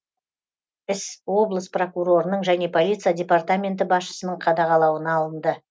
іс облыс прокурорының және полиция департаменті басшысының қадағалауына алынды